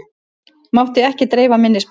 Mátti ekki dreifa minnisblaðinu